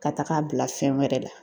Ka taga a bila fɛn wɛrɛ la.